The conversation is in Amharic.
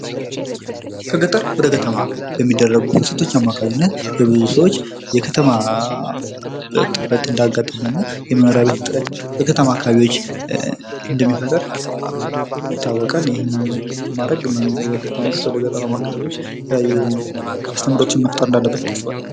ከገጠር ወደ ከተማ በሚደረጉ ፍልሰቶች አማካኝነት የብዙ ሰዎች የከተማ ጥበት እንዳጋጠመ እና የመኖሪያ ቤት እጥረት በከተማ አካባቢዎች እንደሚፈጥር ይታወቃል። ይህም ማድረግ መንግስት ወደ ገጠራማ አከባቢዎች አስተምሮቱን መፍጠር እንዳለበት ይታሰባል።